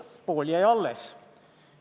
Pool jäi alles.